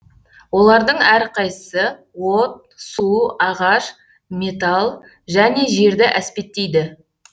олардың әрқайсысы от су ағаш металл және жерді әспеттейді